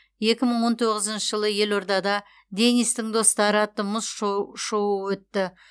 екі мың он тоғызыншы жылы елордада денистің достары атты мұз шоуы өтті